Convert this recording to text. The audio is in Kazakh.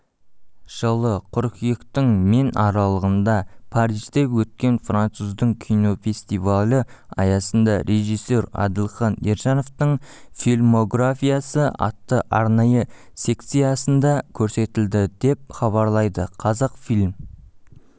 жылы қыркүйектің мен аралығында парижде өткен француздың кинофестивалі аясында режиссер әділхан ержановтың фильмографиясы атты арнайы секциясында көрсетілді деп хабарлайды қазақфильм